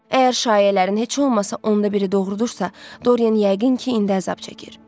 Əgər şayiələrin heç olmasa onda biri doğrudursa, Dorian yəqin ki, indi əzab çəkir.